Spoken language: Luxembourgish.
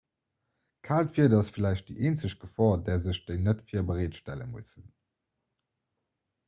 kaalt wieder ass vläicht déi eenzeg gefor där sech déi net-virbereet stelle mussen